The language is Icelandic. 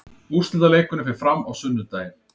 Úrslitaleikurinn fer fram á sunnudaginn.